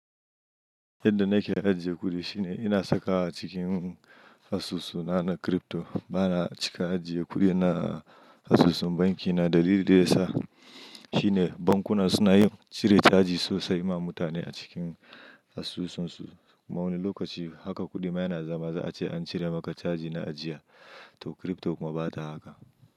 Yadda nake in zanje guri shine ina saka cikin asusu na na crypto. Bana cika ajiye kuɗi na a asusun banki na. Dalilin da yasa shine bankuna suna yin cire caji sosai ma mutane a cikin asusunsu. Kuma wani lokaci haka kuɗi ma yana zama za a ce an cire maka caji na ajiya. To crypto kuma bata haka.